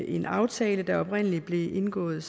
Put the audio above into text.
en aftale der oprindelig blev indgået